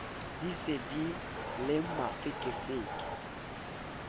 di se di le mafekefeke